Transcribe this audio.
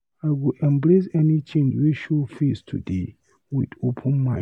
I go embrace any change wey show face today with open mind.